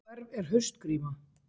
Hverf er haustgríma